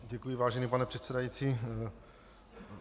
Děkuji, vážený pane předsedající.